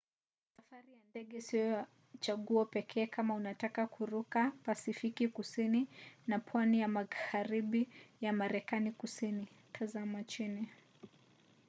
safari hii ya ndege siyo chaguo la pekee kama unataka kuruka pasifiki kusini na pwani ya magharibi ya marekani kusini. tazama chini